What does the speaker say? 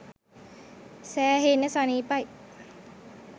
සෑහෙන්න සනිපයි.